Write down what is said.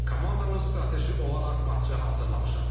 Komandamız strateji olaraq matça hazırlaşmışam.